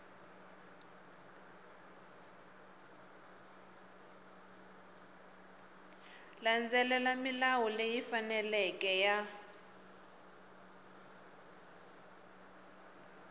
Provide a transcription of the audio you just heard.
landzelela milawu leyi faneleke ya